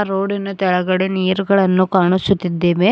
ರೋಡಿನ ತೆಳಗಡೆ ನೀರ್ ಗಳನ್ನು ಕಾಣಿಸುತ್ತಿದ್ದೇವೆ.